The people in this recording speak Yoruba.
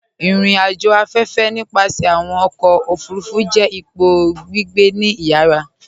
Irìn-àjò afẹ́fẹ̀, nípasẹ̀ awọn ọkọ̀ ofurufu, jẹ́ ìpọ̀ gbígbẹ̀ ní ìyàrà